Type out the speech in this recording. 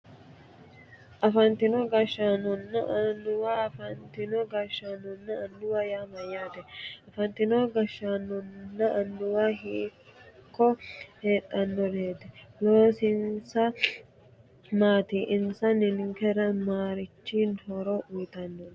Afantino gashshaanonna annuwa afantino gashshaanonna annuwa yaa mayyaate afantino gasgsgaanonna annuwa hiikko heedhannoreeti loosinsa maati insa ninkera marichi horo uyitannonke